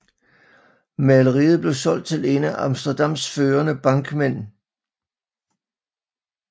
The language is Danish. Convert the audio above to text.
Maleriet blev solgt til en af Amsterdams førende bankmænd dr